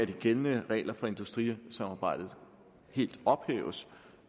de gældende regler for industrisamarbejdet helt ophæves